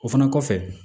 O fana kɔfɛ